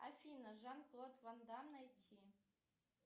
афина жан клод ван дамм найти